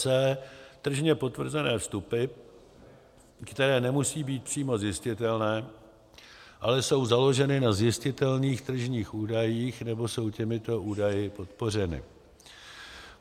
c) tržně potvrzené vstupy, které nemusí být přímo zjistitelné, ale jsou založeny na zjistitelných tržních údajích nebo jsou těmito údaji podpořeny.